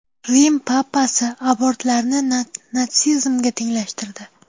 Rim papasi abortlarni natsizmga tenglashtirdi.